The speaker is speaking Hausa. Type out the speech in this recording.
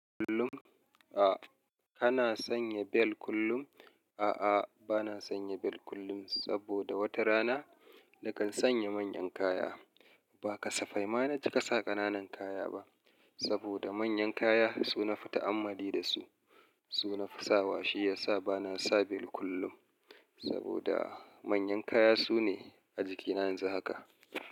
Kullum? A. Kana sanya bel kullum? A'a, bana sanya bel kullum saboda wata rana nakan sanya manyan kaya. Ba kasafai ma na cika sa ƙananan kaya ba saboda manyan kaya su nafi ta'amali da su, su nafi sawa shi yasa bana sa bel kullum saboda manyan kaya sune a jikina yanzu haka.